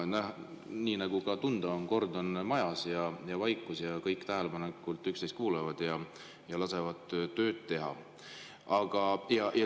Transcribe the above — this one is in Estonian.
Nii nagu ka tunda on, kord on majas ja on vaikus, kõik tähelepanelikult üksteist kuulavad ja lasevad tööd teha.